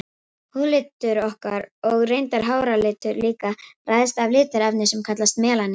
Húðlitur okkar, og reyndar háralitur líka, ræðst af litarefni sem kallast melanín.